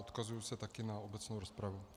Odkazuji se také na obecnou rozpravu.